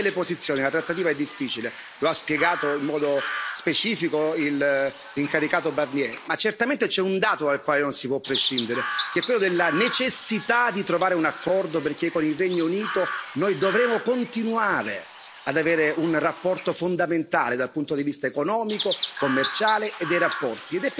Al di là delle posizioni, la trattativa è difficile, lo ha spiegato in modo specifico l'incaricato Barnier, ma certamente c'è un dato dal quale non si può prescindere, che è quello della necessità di trovare un accordo perché con il Regno Unito noi dovremo continuare ad avere un rapporto fondamentale dal punto di vista economico, commerciale e dei rapporti.